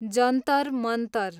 Jantar Mantar